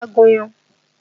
Wá gúnyán!